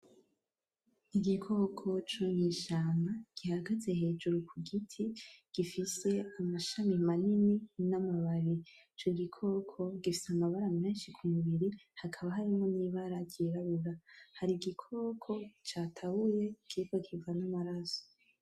Igikoko co mw’ishamba gihagaze hejuru ku giti, gifise amashami manini n’amababi. Ico gikoko gifise amabara menshi ku mubiri, hakaba harimwo n’ibara ryirabura. Hari igikoko catabuye kiriko kiva n’amaraso.